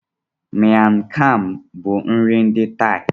Miang Kham bụ nri ndi Thai.